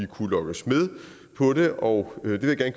kunne lokke os med på det og